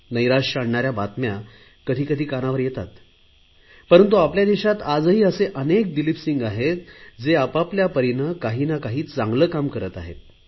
नैराश्य आणणाऱ्या बातम्या कधी कधी कानावर येतात परंतु आपल्या देशात आजही असे अनेक दिलीप सिंह आहेत जे आपआपल्या परीने काही ना काही चांगले काम करत आहेत